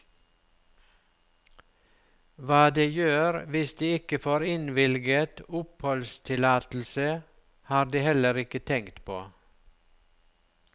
Hva de gjør hvis de ikke får innvilget oppholdstillatelse, har de heller ikke tenkt på.